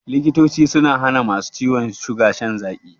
Likitoci sun hana ma su ciwon suga shan zaƙi.